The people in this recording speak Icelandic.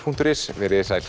punktur is veriði sæl